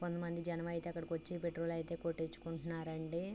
కొంత మంది జనం అయితే అక్కడకొచ్చి పెట్రోల్ అయితే కొట్టించుకుంటున్నారండి.